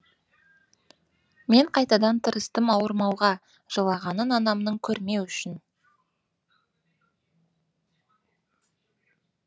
мен қайтадан тырыстым ауырмауға жылағанын анамның көрмеу үшін